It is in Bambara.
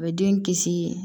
A bɛ den kisi